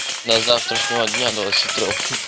до завтрашнего дня двадцати трёх